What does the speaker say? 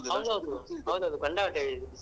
ಹೌದ್ ಹೌದು ಹೌದ್ ಹೌದು ಕಂಡಾಪಟ್ಟೆ ಬಿಸಿಲು.